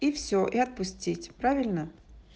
и все и отпустить правильно